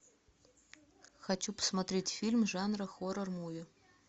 хочу посмотреть фильм жанра хоррор муви